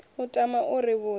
u tama u ri vhudza